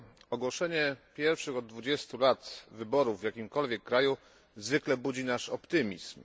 Ogłoszenie pierwszych od 20 lat wyborów w jakimkolwiek kraju zwykle budzi nasz optymizm.